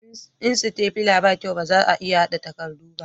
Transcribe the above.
in sitafila ba kyau ba za a iya hada takardu ba